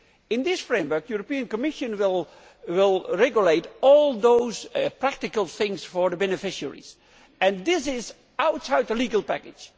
In this framework, the European Commission will regulate all those practical things for the beneficiaries, and this is outside the legal package.